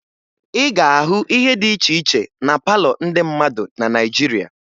Ị ga-ahụ ihe dị iche iche na palọ ndị mmadụ na Naịjirịa